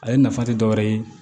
Ale nafa tɛ dɔ wɛrɛ ye